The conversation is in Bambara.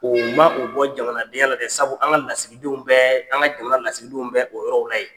Oo ma u bɔ jamanadenya la dɛ sabu an ŋa lasigidenw bɛɛ an ŋa jamana lasigidenw bɛ o yɔrɔ la yen.